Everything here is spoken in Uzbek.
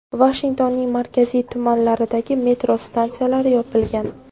Vashingtonning markaziy tumanlaridagi metro stansiyalari yopilgan.